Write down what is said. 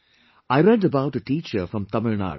I read about a teacher from Tamil Nadu